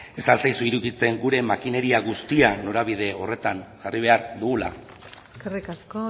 ez al zaizu iruditzen gure makineria guztia norabide horretan jarri behar dugula eskerrik asko